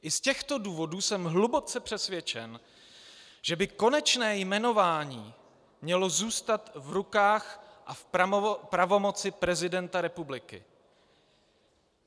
I z těchto důvodů jsem hluboce přesvědčen, že by konečně jmenování mělo zůstat v rukách a v pravomoci prezidenta republiky.